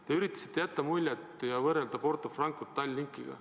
Te üritasite jätta muljet ja võrrelda Porto Francot Tallinkiga.